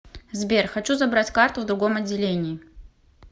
сбер хочу забрать карту в другом отделении